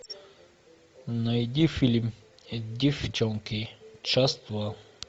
найди фильм деффчонки часть два